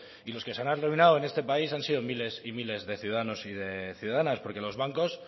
y los que se habrán arruinado en este país han sido miles y miles de ciudadanos y de ciudadanas porque los bancos